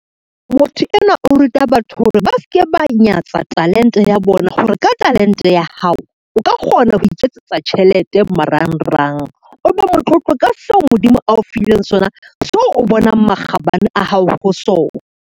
Motho enwa o ruta batho hore ba ske ba nyatsa talente ya bona, hore ka talente ya hao o ka kgona ho iketsetsa tjhelete marangrang, o be motlotlo ka seo Modimo ao fileng sona, seo o bonang makgabane a hao ho sona.